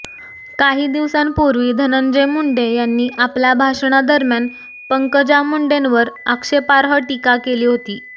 काही दिवसांपूर्वी धनंजय मुंडे यांनी आपल्या भाषणादरम्यान पंकजा मुंडेवर आक्षेपार्ह टीका केली होती